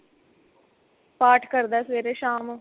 ਪਾਠ ਕਰਦਾ ਸਵੇਰੇ ਸ਼ਾਮ